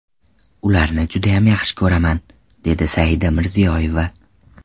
Ularni judayam yaxshi ko‘raman, dedi Saida Mirziyoyeva.